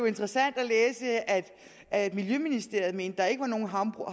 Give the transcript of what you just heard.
interessant at læse at at miljøministeriet mente at der ikke var nogen havbrug